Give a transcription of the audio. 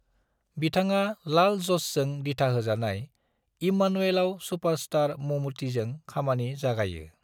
बिथाङा लाल ज'सजों दिथाहोजानाय इम्मानुएलआव सुपरस्टार ममूटीजों खामानि जागायो।